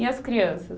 E as crianças?